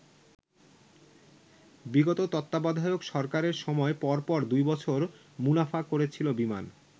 বিগত তত্ত্বাবধায়ক সরকারের সময় পরপর দুই বছর মুনাফা করেছিল বিমান।